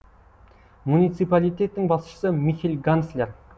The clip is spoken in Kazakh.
муниципалитеттің басшысы михель ганслер